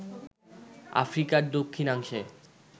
আফ্রিকার দক্ষিণাংশের